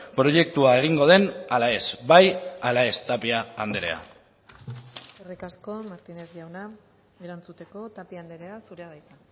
proiektua egingo den ala ez bai ala ez tapia andrea eskerrik asko martínez jauna erantzuteko tapia andrea zurea da hitza